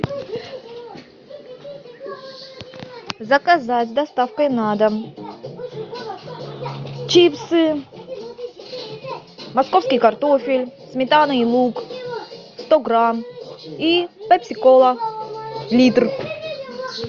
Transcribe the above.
заказать с доставкой на дом чипсы московский картофель сметана и лук сто грамм и пепси кола литр